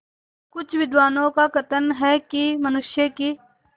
कुछ विद्वानों का कथन है कि मनुष्य की